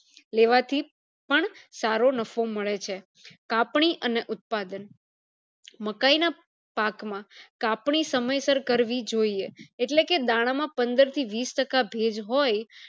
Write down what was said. લેવાથી પણ સારો નાફ્ફો મળે છે કાપણી અને ઉત્પાદન મકાય ના પાક માં કાપણી સમયસર કરવી જોઈએ એટલે દાણા માં પંદર થી વિશ ટકા ભેજ હોય